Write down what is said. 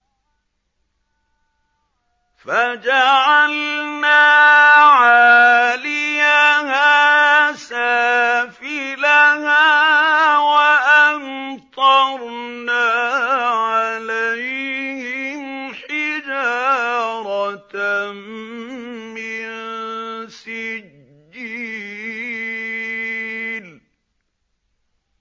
فَجَعَلْنَا عَالِيَهَا سَافِلَهَا وَأَمْطَرْنَا عَلَيْهِمْ حِجَارَةً مِّن سِجِّيلٍ